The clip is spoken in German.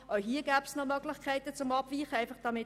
Auch hier gäbe es noch Möglichkeiten für eine Abweichung.